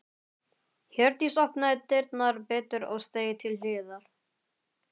Hjördís opnaði dyrnar betur og steig til hliðar.